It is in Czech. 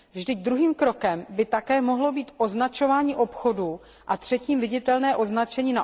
Vždyť druhým krokem by také mohlo být označování obchodů a třetím viditelné označení